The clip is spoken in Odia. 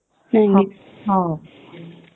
ହୁଁ ଏଇ ଗୁଡା ସତ କଥା